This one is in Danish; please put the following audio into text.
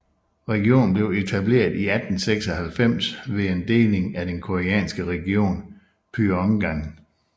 Regionen blev etableret i 1896 ved en deling af den koreanske region Pyongan